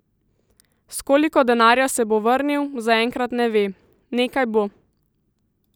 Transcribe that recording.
S koliko denarja se bo vrnil, zaenkrat ne ve: "Nekaj bo.